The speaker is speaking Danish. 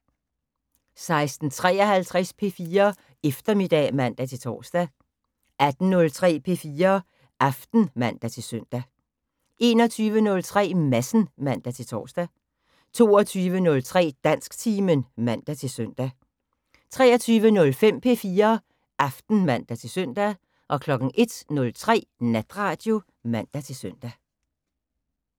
16:53: P4 Eftermiddag (man-tor) 18:03: P4 Aften (man-søn) 21:03: Madsen (man-tor) 22:03: Dansktimen (man-søn) 23:05: P4 Aften (man-søn) 01:03: Natradio (man-søn)